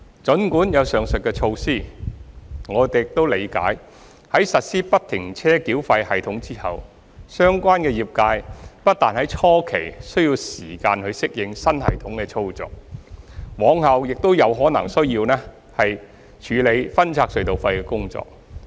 儘管有上述的措施，我們亦理解在實施不停車繳費系統後，相關業界不但在初期需要時間適應新系統的操作，往後亦可能需要處理分拆隧道費的工作。